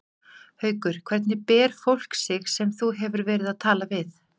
Haukur: Hvernig ber fólk sig sem þú hefur verið að tala við?